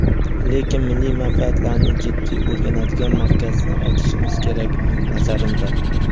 Lekin milliy manfaatlarni jiddiy o‘rganadigan markazni ochishimiz kerak nazarimda.